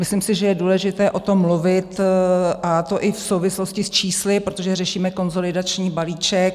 Myslím si, že je důležité o tom mluvit, a to i v souvislosti s čísly, protože řešíme konsolidační balíček.